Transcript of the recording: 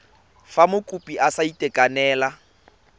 fa mokopi a sa itekanela